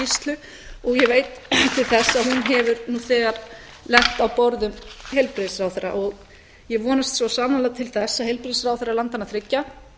skýrslu og ég veit til þess að hún hefur nú þegar lent á borði heilbrigðisráðherra og ég vonast svo sannarlega til þess að heilbrigðisráðherrar landanna þriggja